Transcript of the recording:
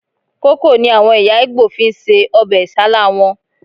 Kókò ni àwọn ẹ̀yà Ìgbò fi ń se ọbẹ̀ Isálá wọn